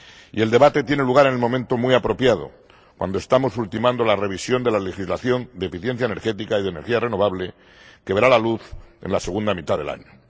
Y el debate tiene lugar en un momento muy apropiado, cuando estamos ultimando la revisión de la legislación de eficiencia energética y de energía renovable, que verá la luz en la segunda mitad del año.